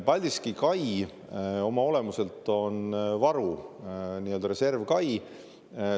Paldiski kai oma olemuselt on varuks, nii-öelda reservkai.